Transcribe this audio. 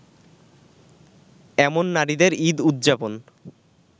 এমন নারীদের ঈদ উদযাপন